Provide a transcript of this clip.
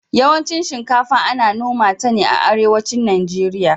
yawancin shinkafa Ana noma ta ne a arewacin nigeria